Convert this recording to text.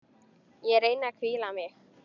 Ég reyni að hvíla mig.